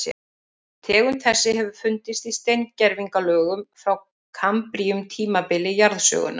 Tegund þessi hefur fundist í steingervingalögum frá kambríum tímabili jarðsögunnar.